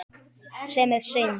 Sem er synd.